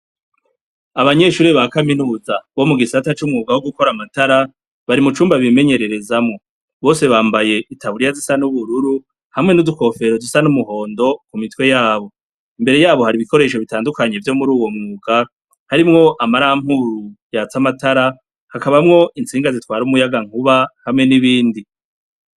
abanyeshuri ba kaminuza bo mu gisata c'umwuka wo gukora amatara bari mu cumba bimenyererezamo bose bambaye itaburiya zisa n'ubururu hamwe n'udukofero zisa n'umuhondo ku mitwe yabo imbere yabo hari ibikoresho bitandukanye vyo muri uwo mwuka harimwo amarampuru yatsa amatara hakabamwo insinga zitwara umuyaga nkuba hamwe n'ibindi